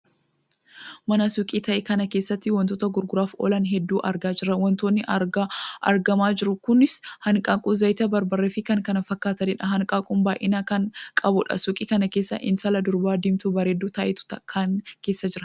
Mana suukii tahe kana keessatti wantoota gurguraaf oolan hedduu argaa jirra. wantoonni argamaa jiru kunis; hanqaaquu, zayitii, barbaree fi kan kana fakkaataniidha. hanqaaquun baay'ina kan qabudha. suukii kan keessa intala durba diimtuu bareedduu taatetu kana keessa jira.